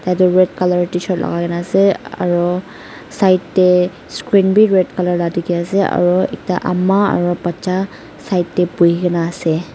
etu red colour tshirt lagai na ase aro side teh screen bi red colour lah dikhi ase aro ekta ama aro baccha side teh bohi kena ase.